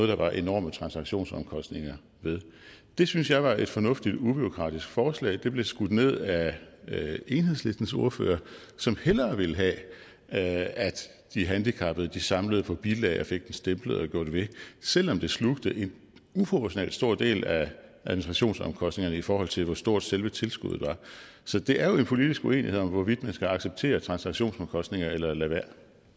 der var enorme transaktionsomkostninger ved det syntes jeg var et fornuftigt ubureaukratisk forslag det blev skudt ned af enhedslistens ordfører som hellere ville have at de handicappede samlede på bilag og fik dem stemplet og gjort ved selv om det slugte en uproportionalt stor del af administrationsomkostningerne i forhold til hvor stort selve tilskuddet var så det er jo en politisk uenighed om hvorvidt man skal acceptere transaktionsomkostninger eller lade være